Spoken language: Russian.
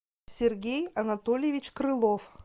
сергей анатольевич крылов